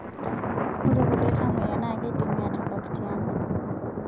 Ore kulie tamoyia naa kedimi atabak tiang'